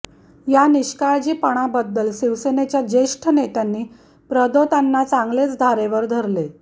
या निष्काळजीपणाबद्धल शिवसेनेच्या ज्येष्ठ नेत्यांनी प्रदोतांना चागलेच धारेवर धरले